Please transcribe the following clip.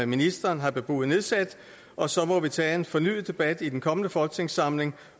ministeren har bebudet nedsat og så må vi tage en fornyet debat i den kommende folketingssamling